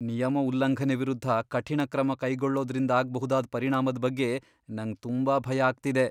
ನಿಯಮ ಉಲ್ಲಂಘನೆ ವಿರುದ್ಧ ಕಠಿಣ ಕ್ರಮ ಕೈಗೊಳ್ಳೋದ್ರಿಂದಾಗ್ಬಹುದಾದ್ ಪರಿಣಾಮದ್ ಬಗ್ಗೆ ನಂಗ್ ತುಂಬಾ ಭಯ ಆಗ್ತಿದೆ.